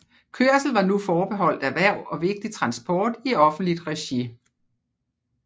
Kørsel var nu forbeholdt erhverv og vigtig transport i offentligt regi